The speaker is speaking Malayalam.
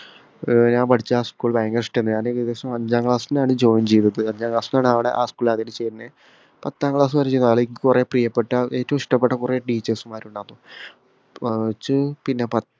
ഏർ ഞാന് പഠിച്ച ആ school ഭയങ്കര ഇഷ്ടെനു ഞാൻ ഏകദേശം അഞ്ചാം class ന്നാണ് join ചെയ്തത് അഞ്ചാം class ന്നാണ് അവടെ ആ school ആദ്യായിട്ട് ചേര് ന്നെ പത്താം class വരെ നിച് കൊറേ പ്രിയപ്പെട്ട ഏറ്റവും ഇഷ്ടപെട്ട കൊറേ teachers മാര് ഇണ്ടാരുന്നു ഏർ നിച്ചു പിന്നെ പത്ത്